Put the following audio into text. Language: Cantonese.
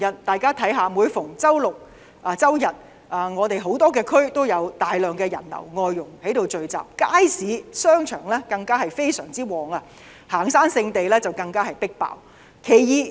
大家看看，每逢周六周日多區都有大量人流及外傭聚集，街市、商場十分暢旺，行山聖地更是異常擠迫。